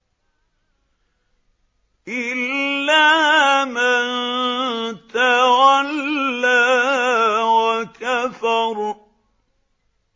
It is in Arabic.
إِلَّا مَن تَوَلَّىٰ وَكَفَرَ